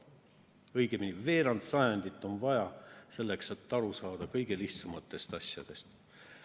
Veerand sajandit on vaja selleks, et aru saada kõige lihtsamatest asjadest.